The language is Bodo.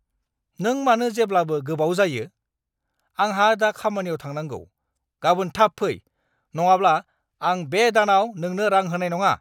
नों मानो जेब्लाबो गोबाव जायो? आंहा दा खामानियाव थांनांगौ! गाबोन थाब फै, नङाब्ला आं बे दानाव नोंनो रां होनाय नङा!